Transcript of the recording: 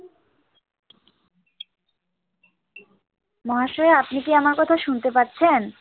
মহাশয়া আপনি কি আমার কথা শুনতে পাচ্ছেন?